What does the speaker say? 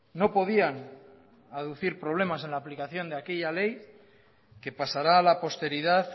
no podían aducir problemas en la aplicación de aquella ley que pasará a la posteridad